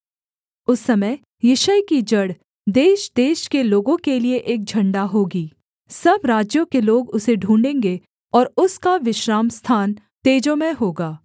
उस समय यिशै की जड़ देशदेश के लोगों के लिये एक झण्डा होगी सब राज्यों के लोग उसे ढूँढ़ेंगें और उसका विश्रामस्थान तेजोमय होगा